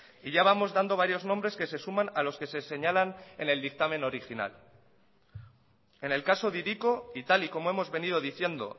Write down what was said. y ya vamos dando varios nombres que se suman a los que se señalan en el dictamen original en el caso de hiriko y tal y como hemos venido diciendo